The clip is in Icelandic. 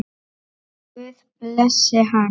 Guð blessi hana.